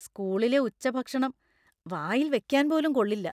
സ്കൂളിലെ ഉച്ചഭക്ഷണം വായിൽ വെക്കാൻ പോലും കൊള്ളില്ല.